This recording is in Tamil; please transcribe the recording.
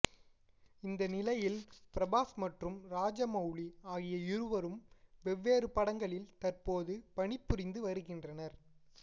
இந்த நிலையில் பிரபாஸ் மற்றும் ராஜமவுலி ஆகிய இருவரும் வெவ்வேறு படங்களில் தற்போது பணிபுரிந்து வருகின்றனர்